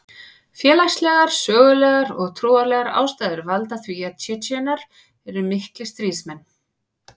Félagslegar, sögulegar og trúarlegar ástæður valda því að Tsjetsjenar eru miklir stríðsmenn.